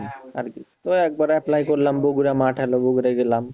আরকি, তো একবার apply করলাম, বগুড়া মাঠে গেলাম,